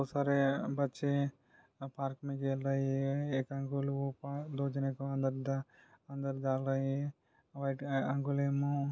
और सारे बच्चे पार्क मे खेल रहे है एक अंकल वो पा दो जने को अंदर डाल रहे है व्हाइट --